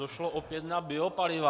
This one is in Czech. Došlo opět na biopaliva.